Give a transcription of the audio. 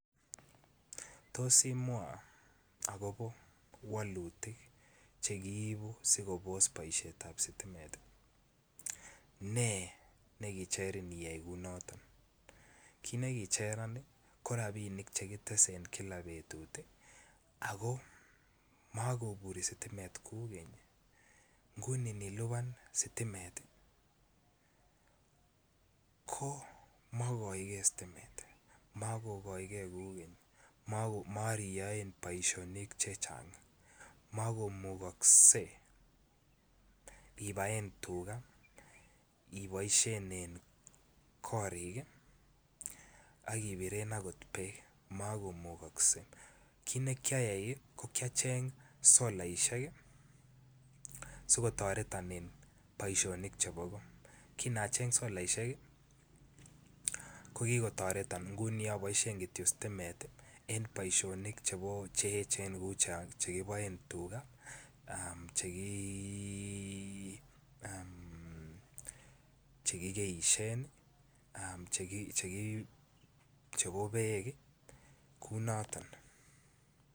Tos imwa agobo wolutik Che kiibu asi kobos boisietab sitimet ne nekicherin iyai kou noton kit nekicheran ii ko rabisiek Che kitese en kila betut ako mobure sitimet kou keny nguni anilipan sitimet makokaige sitimet kou keny moriyoen boisionik chechang mokomukokse ibaen tuga iboisien en korik ak ibiren bek kit neki ayai ko ki acheng solaisiek ii sikotoreton en boisionik chebo goo kin aboisien solaisiek ko ki kotoreton nguni aboisien Kityo sitimet en boisionik Che echen cheu Che kiboen tuga cheki keisyen chebo bek ii kounoton